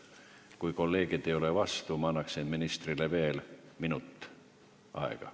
Kui kolleegid ei ole vastu, ma annaksin ministrile veel minuti aega.